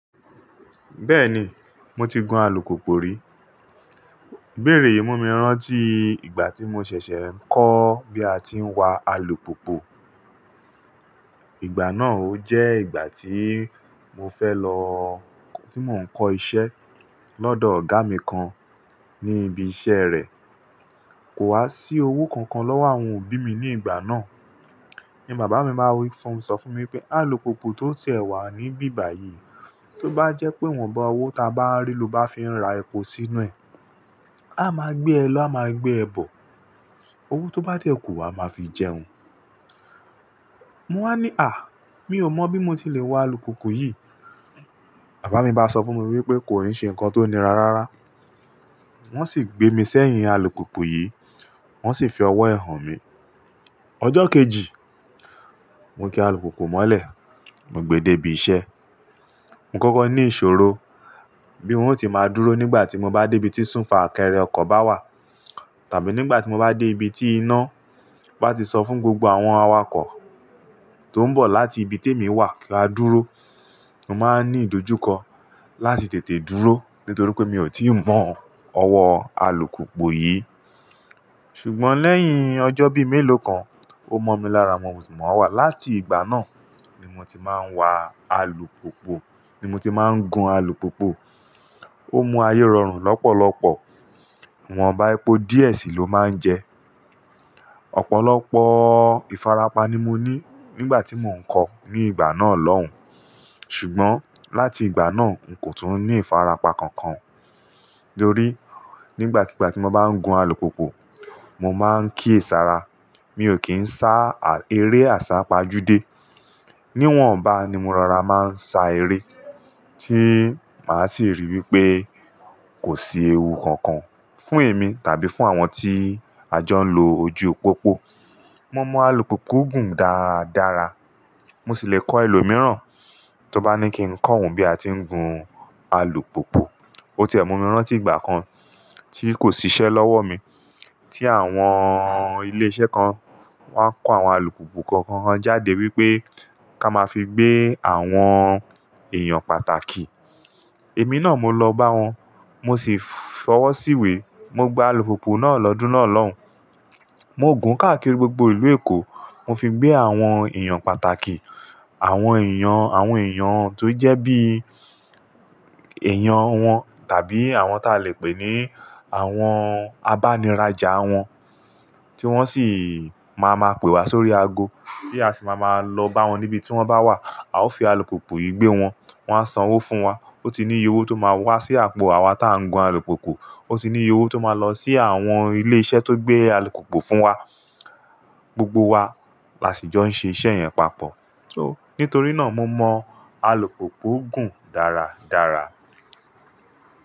Bẹ́ẹ̀ni, mo ti gun alùpùpù rí. Ibeèrè yì mu mi rántí ìgbà tí mo ṣẹ̀ṣẹ̀ ń kọ́ bí a ti ń wa alùpopo. Ìgbà náà ó jẹ́ ìgbà tí mo fẹ́ lọ-- tí mò ń kọ́ iṣẹ́ lọ́dọ̀ ọ̀gá mi kan ní ibi iṣẹ́ rẹ̀. Kò wá sí owó kankan lọ́wọ́ àwọn òbí mi ní ìgbà náà. Ni bàbá mi ba wí fún-- ń sọ fún mi pé alùpopo tó ti ẹ̀ wà níbí báyìí, tó bá jẹ́ pé ìwọ̀nba owó ta bá rí ló bá fi n ra epo sí inú ẹ̀. A máa gbé ẹ lọ, a máa gbé ẹ bọ̀. Owó tó bá dẹ́kù wa a máa fi jẹun. Mo wá ní à! Mi ò mọ̀ bí mo ti lè wa alùpùpù yìí. Bàbá mi bá sọ fún mi wípé kò í ṣe nǹkan tó nira rárá. Wọ́n sì gbé mi sẹ́yìn alùpupù yìí, wọ́n sì fi ọwọ́ ẹ̀ hàn mi. Ọjọ́ kejì, mo ki alùpùpù mọ́lẹ̀, mo gbe de ibi iṣẹ́. Mo kọ́kọ́ ní ìṣòro bí wo ó ti máa dúró nígbà tí mo bá dé ibi tí súfakẹrẹ ọkọ̀ bá wà. Tàbí nígbà tí mo bá dé ibi tí iná bá ti sọ fún gbogbo àwọn awakọ̀ tó ń bọ̀ láti ibi te mi wà kí a dúró. Mo máa ń ní ìdójúkọ láti tètè dúró nítorí pé mi ò tí ì mọ̀ ọwọ́ alùpùpù yìí. Ṣùgbọ́n lẹ́yìn ọjọ́ bí méèló kan, ó mọ mi lára, mo sì mọ̀ wà. Láti ìgbà náà ni mo ti máa ń wa alùpùpù, ni mo ti máa ń gun alùpùpù. Ó mú ayé rọrùn lọ́pọ̀lọpọ̀. Iwọn bá epo díẹ̀ sì ló máa ń jẹ. Ọ̀pọ̀lọpọ̀ ìfarapa ni mo ní nígbà tí mò ń kọ̀ ní ìgbà náà lọ́hùn. Ṣùgbọ́n láti ìgbà náà, n kò tún ní ìfarapa kankan. Torí nígbàkigbà tí mo bá ń gun alùpùpù, mo máa ń kíyèsara. Mi ò kí ń sá eré àsápajúdé. Níwọ̀nba ni mo rara máa ń sa eré tí màá sì rí wípé kò sí ewu kankan fún èmi tàbí fún àwọn tí a jọ ń lo ojú pópó. Mo mọ alùpùpù gùn dára dára. Mo sì lè kọ́ ẹlòmíràn tó bá ní kí ń kọ́ òun bí a ti ń gun alùpùpù. Ó tiẹ mu mi rán tí ìgbà kan tí kò ṣiṣẹ́ lọ́wọ́ mi, tí àwọn ilé iṣẹ́ kan wá kó àwọn alùpùpù kọ̀ọ̀kan wọn jáde wípé ká máa fi gbé àwọn èèyàn pàtàkì. Èmi náà mo lọ bá wọn, mo sì fọwọ́ síwé. Mo gba alùpùpù náà lọ́dún náà lọ́hùn. Mo gùn káàkiri gbogbo ìlú Èkó. Mo fi gbé àwọn èèyàn pàtàkì. Àwọn èèyàn, àwọn èèyàn tó jẹ́ bí èèyàn wọn tàbí àwọn tá lè pè ní àwọn abániràjà wọn tí wọ́n sì máa ma pe wa sórí ago tí a sì máa ma lọ bá wọn níbi tí wọ́n bá wà. A ó fi alùpùpù yìí gbé wọn. Wọn á san owó fún wa. Ó ti níye owó tó máa wá sí àpò àwa tá ń gun alùpùpù. Ó sì níye owó tó máa lọ sí àwọn ilé iṣẹ́ tó gbé alùpùpù fún wa. Gbogbo wa la sì jọ ń ṣe iṣẹ́ yẹn papọ̀ so. Nítorí náà mo mọ alùpùpù gùn dára dára.